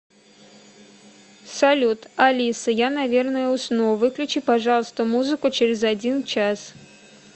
салют алиса я наверное усну выключи пожалуйста музыку через один час